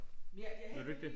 Jeg jeg henter lige